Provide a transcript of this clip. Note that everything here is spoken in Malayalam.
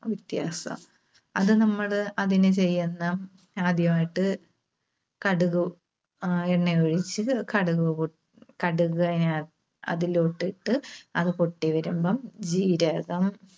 വ്യത്യാസാ. അത് നമ്മള് അതിന് ചെയ്യുന്ന, ആദ്യമായിട്ട് കടുക്, ആഹ് എണ്ണ ഒഴിച്ച്, കടുക്, കടുക് അതിന അതിലോട്ട് ഇട്ട് അത് പൊട്ടിവരുമ്പം ജീരകം